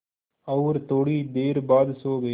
और थोड़ी देर बाद सो गए